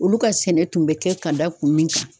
Olu ka sɛnɛ tun bɛ kɛ ka da kun min kan